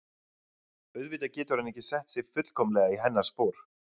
Auðvitað getur hann ekki sett sig fullkomlega í hennar spor.